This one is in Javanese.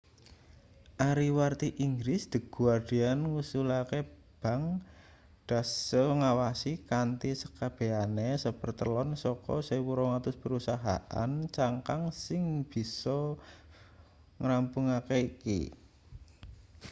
ariwarti inggris the guardian ngusulake bank deutsche ngawasi kanthi sekabehane sapertelon saka 1200 perusahaan cangkang sing biasa ngrampungake iki